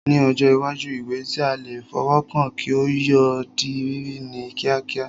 Ní ọjọ́ iwájú, ìwé tí a lè fọwọ́ kàn kí yóò di rírí ní kíákíá